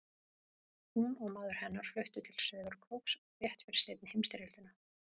Hún og maður hennar fluttu til Sauðárkróks rétt fyrir seinni heimsstyrjöldina.